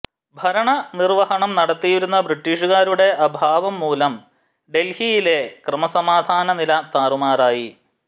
ഭരണനിർവഹണം നടത്തിയിരുന്ന ബ്രിട്ടീഷുകാരുടെ അഭാവം മൂലം ഡെൽഹിയിലെ ക്രമസമാധാനനില താറുമാറായി